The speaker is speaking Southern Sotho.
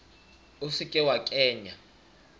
o se ke wa kenya